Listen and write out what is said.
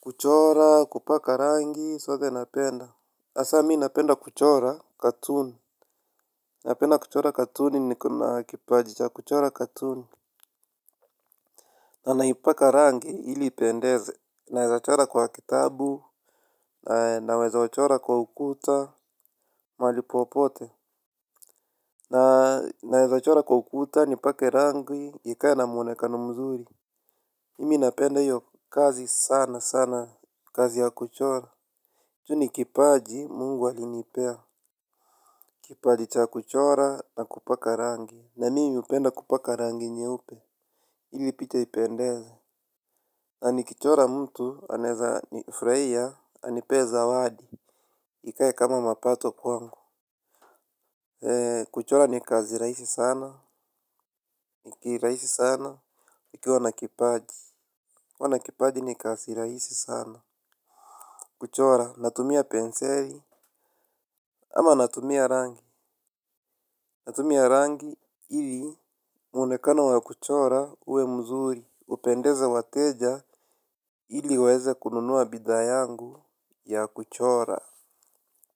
Kuchora, kupaka rangi, sote napenda. Asa mi napenda kuchora, katuni. Napenda kuchora katuni niko na kipajicha, kuchora katuni. Nanaipaka rangi, ili ipendeze. Naweza chora kwa kitabu. Naweza wachora kwa ukuta. Malipopote. Naweza chora kwa ukuta, nipake rangi, ikae na mwonekano mzuri. Mimi napenda hiyo kazi sana sana. Kazi ya kuchora tu ni kipaji mungu alinipea. Kipaji cha kuchora na kupaka rangi. Na mimi upenda kupaka rangi nyeupe. Ili pita ipendeze. Anikichora mtu aneza ni fraia. Anipe zawadi. Ikae kama mapato kwangu. Kuchora ni kazi raisi sana. Iki raisi sana. Ikiwa na kipaji kuwa na kipaji ni kazi raisi sana. Kuchora natumia penseli. Ama natumia rangi. Natumia rangi hili muonekano wa kuchora uwe mzuri upendeza wateja hili waeze kununuwa bidhaa yangu ya kuchora.